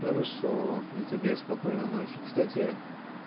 хорошо и тебе спокойной ночи кстати